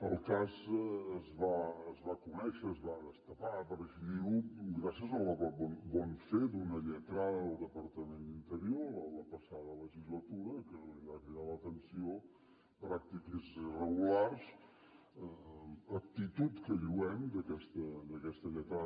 el cas es va conèixer es va destapar per així dir ho gràcies al bon fer d’una lletrada del departament d’interior a la passada legislatura que li van cridar l’atenció pràctiques irregulars actitud que lloem d’aquesta lletrada